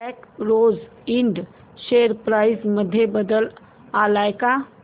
black Rose Ind share price मध्ये बदल आलाय का